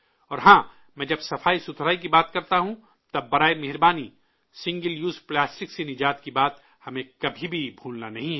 اور ہاں، میں جب صفائی کی بات کرتا ہوں تب براہ کرم سنگل یوز پلاسٹک سے نجات کی بات ہمیں کبھی بھی بھولنی نہیں ہے